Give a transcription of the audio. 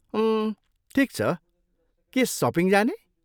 उम्, ठिक छ, के सपिङ जाने?